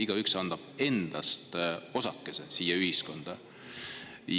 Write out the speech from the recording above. Igaüks annab endast osakese siia ühiskonda.